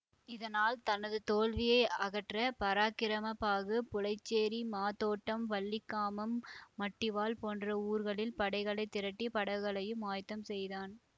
இதனால் தனது தோல்வியை அகற்ற பராக்கிரம பாகு புலைச்சேரி மாதோட்டம் வல்லிகாமம் மட்டிவாழ் போன்ற ஊர்களில் படைகளை திரட்டி படகுகளையும் ஆயத்தம் செய்தான்